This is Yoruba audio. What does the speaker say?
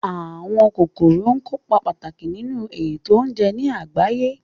Àwọn kòkòrò kópa pàtàkì nínu ètò oúnje ní àgbáyé